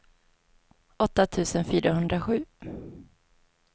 åtta tusen fyrahundrasju